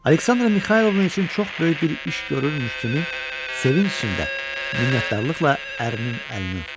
Aleksandra Mixaylovna üçün çox böyük bir iş görürmüş kimi sevinc içində, minnətdarlıqla ərinin əlini öpdü.